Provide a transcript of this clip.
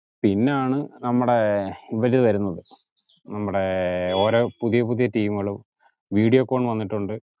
പിണാണ് നമ്മടഏർ ഇവര് വരുന്നത് ഓരോ പുതിയ പുതിയ team കൾ വീഡിയോകോൺ വന്നിട്ടുണ്ട്